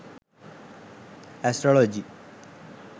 astrology